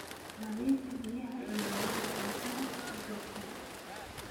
Nadiifi biyaha iyo weelasha cuntada si joogto ah.